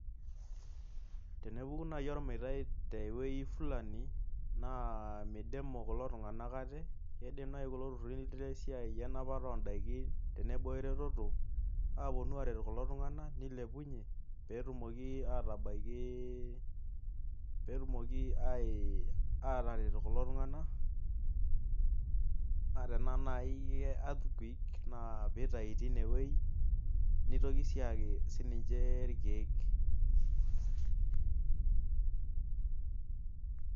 Tenepuku naaji olmeitai te wueji Fulani naa meidumimu kulo tunganak ate. oee kulo tunganak lenapata ol daikin nebaa eretoto. aapuonu aabaiki kulo tunganak peyie etumoki, aatabaiki peetumok aataret kulo tunganak. naa tenaaji ke earthquake pee itayu tenie wueji. nitoki sii ayaki sii ninche irkeek.